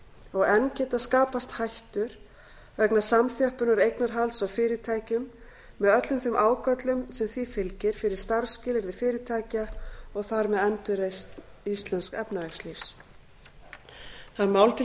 og enn geta skapast hættur vegna samþjöppunar eignarhalds á fyrirtækjum með öllum þeim ágöllum sem því fylgir fyrir starfsskilyrði fyrirtækja og þar með endurreisn íslensks efnahagslífs mál er til